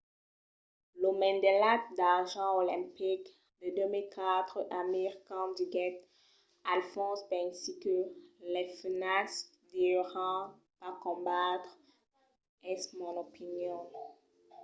lo medalhat d'argent olimpic de 2004 amir khan diguèt al fons pensi que las femnas deurián pas combatre. es mon opinion.